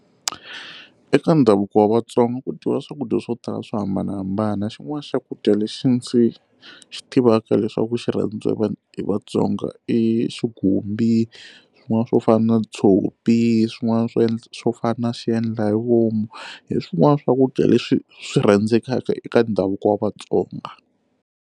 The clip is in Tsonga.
Eka ndhavuko wa vatsonga ku dyiwa swakudya swo tala swo hambanahambana xin'wana xakudya lexi ndzi xi tivaka leswaku xi rhandziwa hi vanhu hi vatsonga i xigumbi swin'wana swo fana na tshopi swin'wana swo endla swo fana na xiendla hi vomu hi swin'wana swakudya leswi swi rhandzekaka eka ndhavuko wa vatsonga.